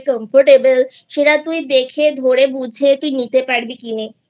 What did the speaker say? Comfortable সেটা তুই দেখে ধরে বুঝে তুই নিতে পারবি কিনেI